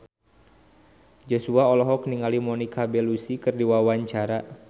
Joshua olohok ningali Monica Belluci keur diwawancara